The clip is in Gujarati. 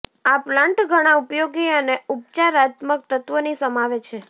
આ પ્લાન્ટ ઘણા ઉપયોગી અને ઉપચારાત્મક તત્વોની સમાવે છે